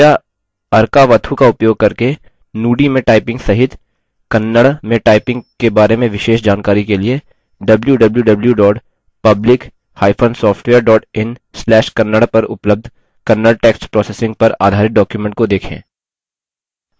कृपया arkavathu का उपयोग करके nudi में typing सहित kannada में typing के बारे में विशेष जानकारी के लिए www publicsoftware in/kannada पर उपलब्ध kannada text processing पर आधारित document को देखें